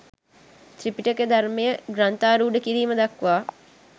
ත්‍රිපිටක ධර්මය ග්‍රන්ථාරූඪ කිරීම දක්වා